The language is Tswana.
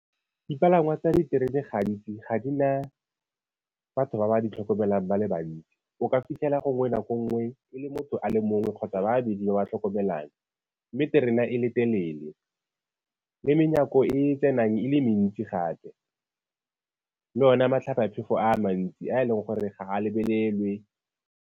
Dipalangwa tsa diterena gantsi, ga di ga di na batho ba ba tlhokomelang ba le bantsi. O ka fitlhela gongwe nako nngwe le motho a le mongwe kgotsa ba babedi ba ba tlhokomelang mme terena e le telele le menyako e e tsenang e le mentsi gape le one matlhabaphefo a mantsi a e leng gore ga a lebelelwe.